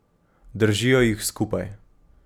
Držijo jih skupaj.